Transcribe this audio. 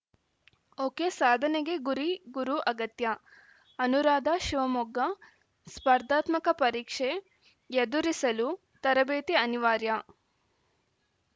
ಒಕೆಸಾಧನೆಗೆ ಗುರಿ ಗುರು ಅಗತ್ಯ ಅನುರಾಧಾ ಶಿವಮೊಗ್ಗ ಸ್ಪರ್ಧಾತ್ಮಕ ಪರೀಕ್ಷೆ ಎದುರಿಸಲು ತರಬೇತಿ ಅನಿವಾರ್ಯ